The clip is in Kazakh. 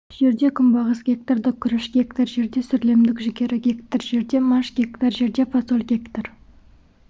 жерде күнбағыс гектарда күріш гектар жерде сүрлемдік жүгері гектар жерде маш гектар жерде фасоль гектар